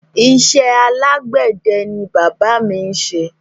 Isé alágbède ni bàbá mi n ṣe